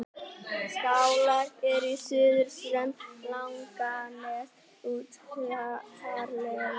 Skálar eru á suðurströnd Langaness utarlega.